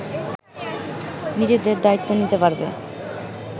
নিজেদের দায়িত্ব নিতে পারবে